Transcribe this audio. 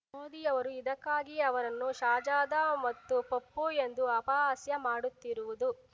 ಮೋದಿಯವರು ಇದಕ್ಕಾಗಿಯೇ ಅವರನ್ನು ಶಾಜಾದಾ ಮತ್ತು ಪಪ್ಪು ಎಂದು ಅಪಹಾಸ್ಯ ಮಾಡುತ್ತಿರುವುದು